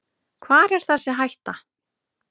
Hvar er þessi hætta.